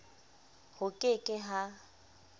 ho ke ke h a